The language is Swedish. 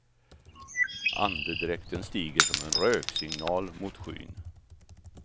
Andedräkten stiger som en röksignal motskyn.